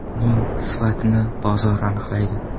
Uning sifatini bozor aniqlaydi.